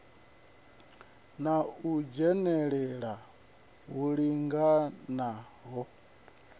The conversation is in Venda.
na u dzhenelela hu linganaho